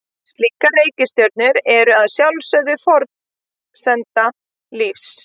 Slíkar reikistjörnur eru að sjálfsögðu forsenda lífs.